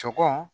Sɔkɔ